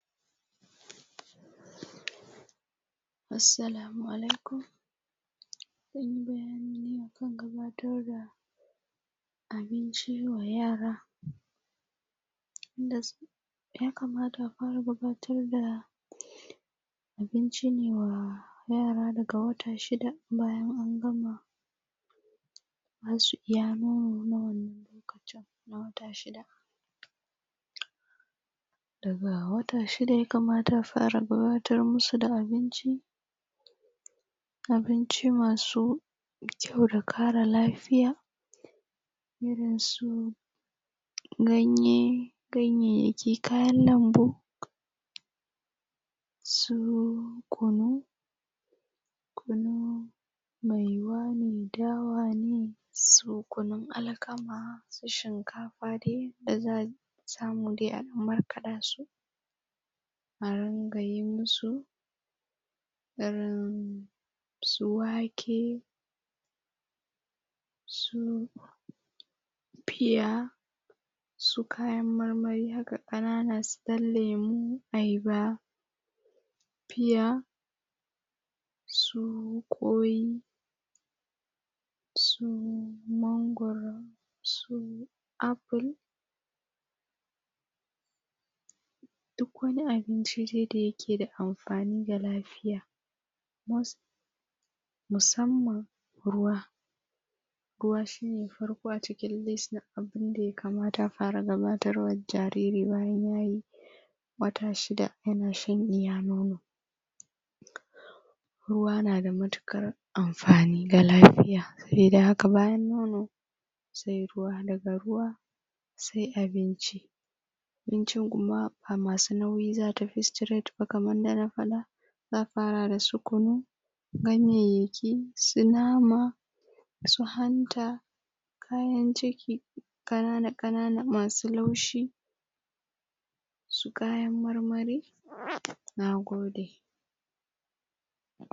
Assalamu alaikun, zan yi bayani ne a kan gabatar da abinci wa yara. Ya kamata a fara gabatar da abinci ne wa yara daga wata shida bayan an gama ba su iya nono na wannan lokacin na wata shida. Daga wata shida ya kamata a fara gabatar masu da abinci, abinci masu kyau da ƙara lafiya, irin su ganye, ganyayyaki, kayan lambu, su kunu, maiwa ne, dawa ne, su kunun alkama, su shinkafa dai da za samu dai a ɗan markaɗa su, a ringa yi musu irin su wake, su pear, su kayan marmari haka ƙanan su ɗan lemu, ayaba, pear, su ƙwai, su mangwaro, su apple. Duk wani abinci dai da yake da amfani ga lafiya, musamman ruwa. Ruwa shine na farko a cikin list na abun da ya kamata a fara gabatarwa da jariri bayan ya yi wata shida yana shan iya nono. Ruwa na da matuƙar amfani ga lafiya. Sabida haka bayan nono, sai ruwa daga ruwa sai abinci, abinci kuma ba masu nauyi za a tafi straight ba kamar yadda na faɗa, za afara da su kunu, ganyayyaki, su nama, su hanta, kayam ciki ƙanana ƙanana masu laushi, su kayan marmari. Na gode.